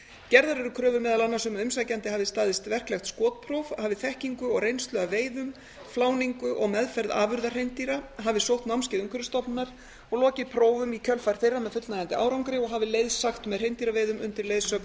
gerðar eru kröfur meðal annars um að umsækjandi hafi staðist verklegt skotpróf hafi þekkingu og reynslu af veiðum fláningu og meðferð afurða hreindýra hafi sótt námskeið umhverfisstofnunar og lokið prófum í kjölfar þeirra með fullnægjandi árangri og hafi leiðsagt með hreindýraveiðum undir leiðsögn